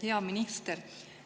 Hea minister!